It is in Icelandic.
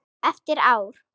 Eftir ár?